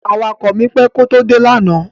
Awakọ̀ mi pẹ́ kó tó dé lánàá.